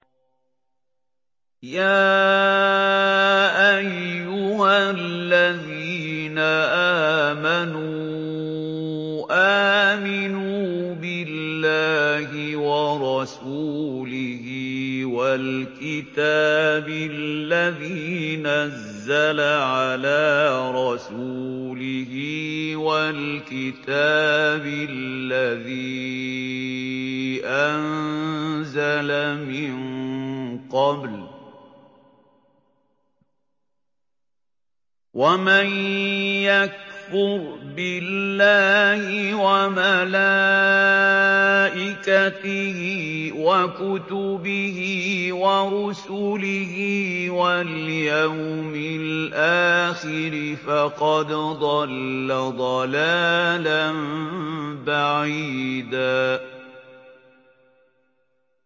يَا أَيُّهَا الَّذِينَ آمَنُوا آمِنُوا بِاللَّهِ وَرَسُولِهِ وَالْكِتَابِ الَّذِي نَزَّلَ عَلَىٰ رَسُولِهِ وَالْكِتَابِ الَّذِي أَنزَلَ مِن قَبْلُ ۚ وَمَن يَكْفُرْ بِاللَّهِ وَمَلَائِكَتِهِ وَكُتُبِهِ وَرُسُلِهِ وَالْيَوْمِ الْآخِرِ فَقَدْ ضَلَّ ضَلَالًا بَعِيدًا